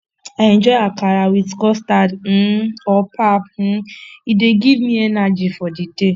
i enjoy akara with custard um or pap um e dey give me energy for the day